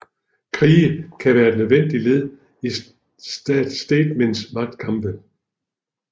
Krige kan være et nødvendigt led i staternes magtkampe